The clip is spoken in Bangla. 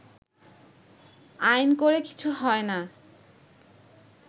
“আইন করে কিছু হয়না